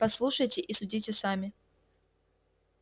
послушайте и судите сами